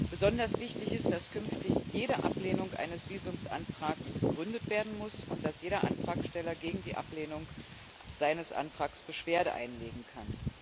Besonders wichtig ist, dass künftig jede Ablehnung eines Visumantrags begründet werden muss und dass jeder Antragsteller gegen die Ablehnung seines Antrags Beschwerde einlegen kann.